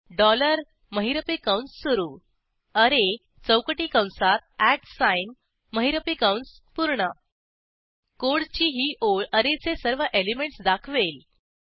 dollar महिरपी कंस सुरू अरे चौकटी कंसात महिरपी कंस पूर्ण कोडची ही ओळ ऍरेचे सर्व एलिमेंटस दाखवेल